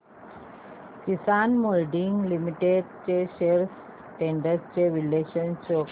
किसान moulding limited shares trends चे विश्लेषण show कर